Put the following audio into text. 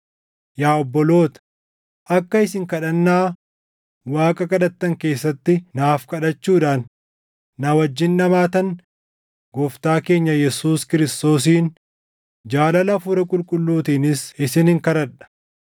Yaa obboloota, akka isin kadhannaa Waaqa kadhattan keessatti naaf kadhachuudhaan na wajjin dhamaatan Gooftaa keenya Yesuus Kiristoosiin, jaalala Hafuura Qulqulluutiinis isinin kadhadha.